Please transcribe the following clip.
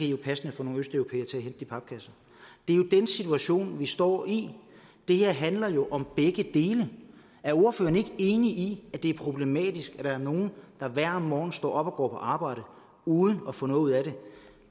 jo passende få nogle østeuropæere til at hente de papkasser det er jo den situation vi står i det her handler jo om begge dele er ordføreren ikke enig i at det er problematisk at der er nogle der hver morgen står op og går på arbejde uden at få noget ud af det